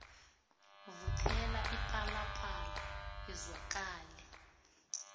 vuthela ipalapala izwakale